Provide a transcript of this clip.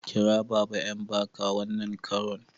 Kira baba Mbaka wannan karon!